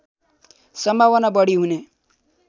सम्भावना बढी हुने